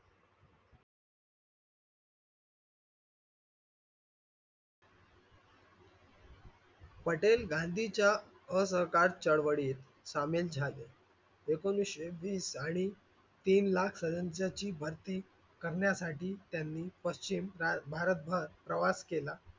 पटेल गांधीच्या असहकार चळवळीत सामील झाले. एकोणावीसशे वीस आणि तीन लाख भरती करण्यासाठी त्यांनी पश्चिम भारतभर प्रवास केला.